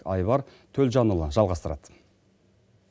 айбар төлжанұлы жалғастырады